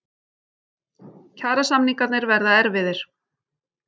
Kjarasamningarnir verða erfiðir